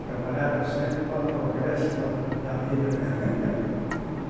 Trabalhava sempre para o progresso da da vida, né?